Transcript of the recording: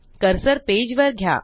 cursor page वर घ्या